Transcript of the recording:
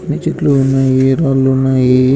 అన్ని చెట్లు ఉన్నాయి రాళ్లు ఉన్నాయి.